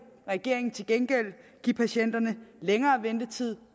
regeringen til gengæld give patienterne længere ventetid